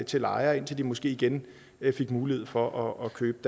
til lejere indtil de måske igen fik mulighed for at købe